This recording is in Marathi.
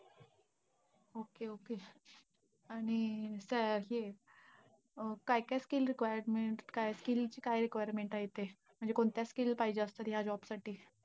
Okay okay आणि काय आहे काय काय skill requirement काय skill काय requirement आहे ते? म्हणजे कोणत्या skill पाहिजे असतात, ह्या job साठी?